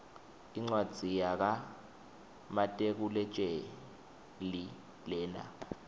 incwadzi yaka matekuletjelii lena